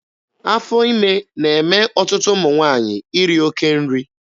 Afọ ime na-eme ọtụtụ ụmụ nwaanyị iri oke nri.